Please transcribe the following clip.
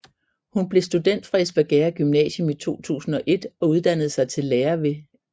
Hun blev student fra Espergærde Gymnasium i 2001 og uddannede sig til lærer ved N